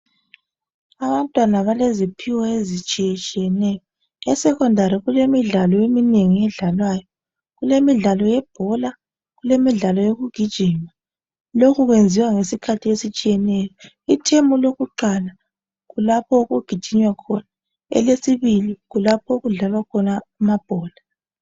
Abantwana baleziphiwo ezitshiyetshiyeneyo. Esecondary kulemidlalo eminengi edlalwayo , kulemidlalo yebhola kulemidlalo yokugijima. Lokhu kwenziwa ngesikhathi esitshiyeneyo. Ithemu lokuqala kulapho okugijinywa khona ,elesibili kulapho okudlalwa khona amabhola.